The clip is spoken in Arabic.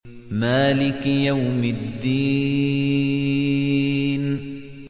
مَالِكِ يَوْمِ الدِّينِ